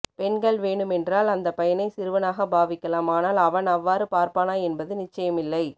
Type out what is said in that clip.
பெண்கள் வேணுமென்றால் அந்தப்பய்யனை சிறுவனாக பாவிக்கலாம் ஆனால் அவன் அவ்வாறு பார்ப்பானா என்பது நிச்சயமில்லை